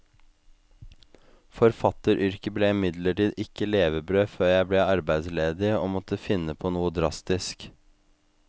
Forfatteryrket ble imidlertid ikke levebrød før jeg ble arbeidsledig og måtte finne på noe drastisk.